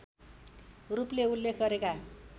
रूपले उल्लेख गरेका